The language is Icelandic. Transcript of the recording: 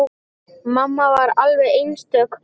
Mamma var alveg einstök kona.